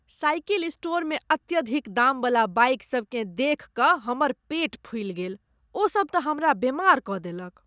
Cycle स्टोरमे अत्यधिक दामवला बाइकसभकेँ देखि कऽ हमर पेट फूलि गेल। ओ सब त हमरा बेमार कऽ देलक।